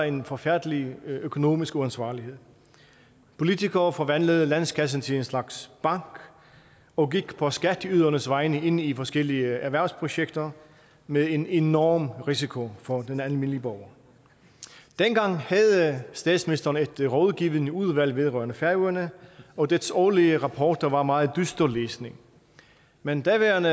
en forfærdelig økonomisk uansvarlighed politikere forvandlede landskassen til en slags bank og gik på skatteydernes vegne ind i forskellige erhvervsprojekter med en enorm risiko for den almindelige borger dengang havde statsministeren et rådgivende udvalg vedrørende færøerne og dets årlige rapporter var meget dyster læsning men daværende